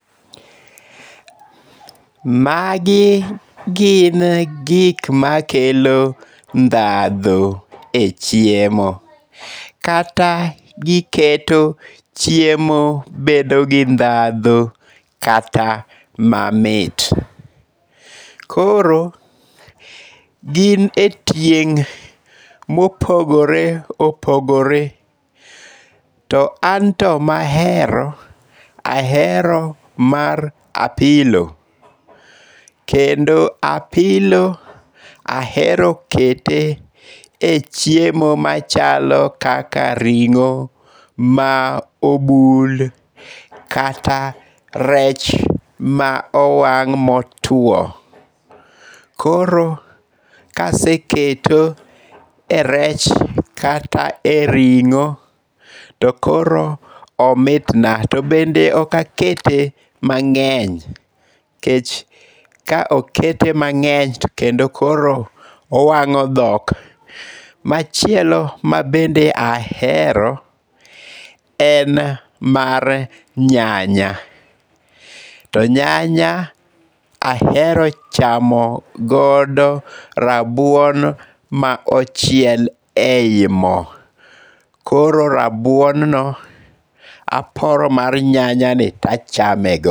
Magi gin gik makelo ndhadhu e chiemo kata giketo chiemo bedo gi ndhadhu kata mamit. Koro, gin e tieng' mopogore opogore, to an to mahero ,ahero mar apilo, kendo apilo ahero kete e chiemo machalo kaka ring'o ma obul, kata rech ma owang' motuwo. Koro kaseketo e rech kata e ring'o, to koro omitna ,to bende ok akete mang'eny nikech ka okete mang'eny to kendo koro owang'o dhok. Machielo ma bende ahero, en mar nyanya. To nyanya ahero chamo godo rabuon ma ochiel ei mo, koro rabuonno aporo mar nyanyani tachame go.